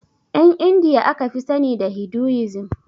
Ƴan indiya aka fi sani da hiduisim